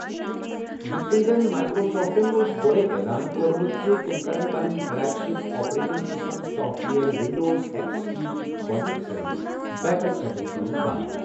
یِتھ کٔنۍ زَن مائیکروسافٹَن اوس گۄڈَے اعلان کوٚرمُت زِ تِم کرَن پنٕنۍ flagship operating system software Windows X P یِچ گۄڈٕنِک سروس پیکَس سپورٹ کرُن بنٛد۔